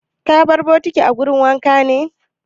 Ka bar bokitin a wurin wanka ne?